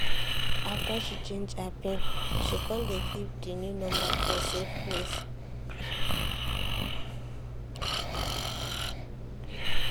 after she change her pin she come dey keep the new number for safe place.